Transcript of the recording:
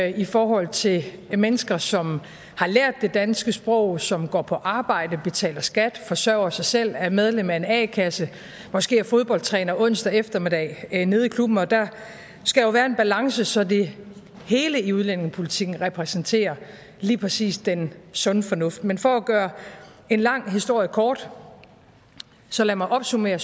i forhold til mennesker som har lært det danske sprog som går på arbejde betaler skat forsørger sig selv er medlem af en a kasse måske er fodboldtræner onsdag eftermiddag nede i klubben for der skal jo være en balance så det hele i udlændingepolitikken repræsenterer lige præcis den sunde fornuft men for at gøre en lang historie kort så lad mig opsummere